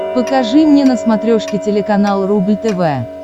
покажи мне на смотрешке телеканал рубль тв